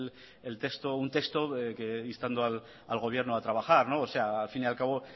el texto instando al gobierno a trabajar al fin y al cabo